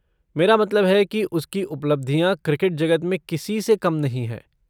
मेरा मतलब है कि उसकी उपलब्धियाँ क्रिकेट जगत में किसी से कम नहीं हैं।